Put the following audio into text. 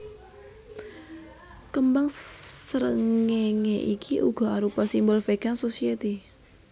Kembang srengéngé iki uga arupa simbol Vegan Society